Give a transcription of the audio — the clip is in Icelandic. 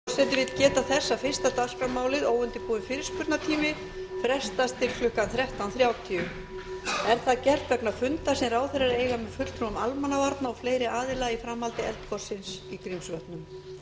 forseti vill geta þess að fyrsta dagskrármálið óundirbúinn fyrirspurnatími frestast til klukkan þrettán þrjátíu er það gert vegna fundar sem ráðherrar eiga með fulltrúum almannavarna og fleiri aðila í framhaldi eldgossins í grímsvötnum